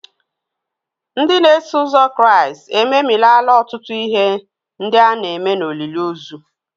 Ndị na-eso ụzọ Kraịst ememilaala ọtụtụ ihe ndị a na-eme n'olili ozu.